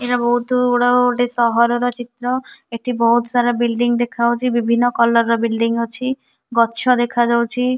ଏରା ବୋହୁତ ଗୁଡାକ ଗୋଟେ ସହର ର ଚିତ୍ର ଆଠି ଏଠି ବୋହୁତ ସାରା ବିଲ୍ଡିଂ ଦେଖା ଯାଉଛି ବିଭିନ୍ନ କଲର୍ ର ଏକ ବିଲ୍ଡିଂ ଅଛି ଗଛ ଦେଖ ଯାଉଛି।